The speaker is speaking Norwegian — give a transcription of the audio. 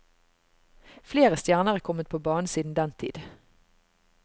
Flere stjerner er kommet på banen siden den tid.